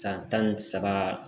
San tan ni saba